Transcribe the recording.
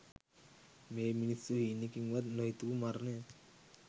මේ මිනිස්සු හීනෙකින්වත් නොහිතපු මරණයක්